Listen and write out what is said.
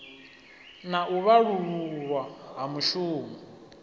na u vhalululwa ha mushumo